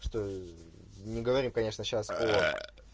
что не говорим конечно сейчас о